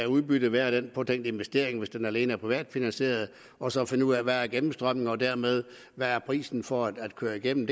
udbyttet af den påtænkte investering hvis den alene er privatfinansieret og så finde ud af hvad gennemstrømningen er og dermed hvad prisen for at køre igennem